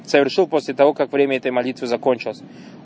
совершил после того как время этой молитвы закончилось